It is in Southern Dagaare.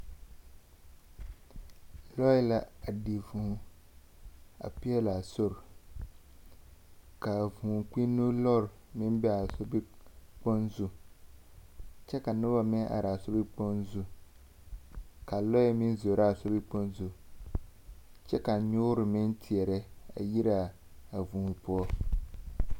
Lͻԑ la a di vũũ a peԑlaa sori, kaa vũũ kpinne lͻre a meŋ be a sobkpoŋ zu kyԑ ka noba meŋ araa a sobikpoŋ zu, ka lͻԑ meŋ zoro a sobikpoŋ zu, kyԑ ka nyoore meŋ teԑrԑ a yiraa a vũũ poͻ.